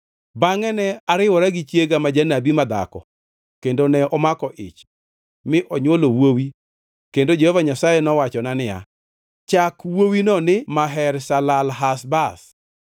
Bangʼe ne ariwora gi chiega ma janabi madhako kendo ne omako ich mi onywolo wuowi kendo Jehova Nyasaye nowachona niya, “Chake wuowino ni Maher-Shalal-Hash-Baz.